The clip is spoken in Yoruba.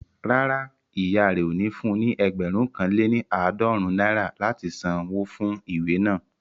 Rárá, ìyá rẹ ò ní fun ní ẹgbẹ̀rún kan lé ní àádọ́rùn-ún náírà láti san wó fún ìwé naa